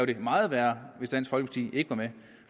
det meget værre hvis dansk folkeparti ikke var med